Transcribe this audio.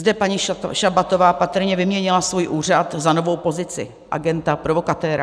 Zde paní Šabatová patrně vyměnila svůj úřad za novou pozici - agenta provokatéra.